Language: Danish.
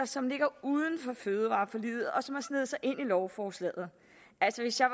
som ligger uden for fødevareforliget og som har sneget sig ind i lovforslaget altså hvis jeg